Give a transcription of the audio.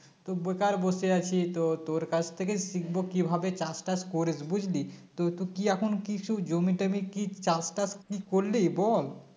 তো বেকার বসে আছি তো তোর কাছ থেকে শিখবো কিভাবে চাষ টাস করিস বুঝলি তো তুই কি এখন কিছু জমি টমি কি চাষ টাস কি করলি বল